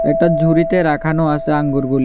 ওটা ঝুড়িতে রাখানো আসে আঙ্গুরগুলি।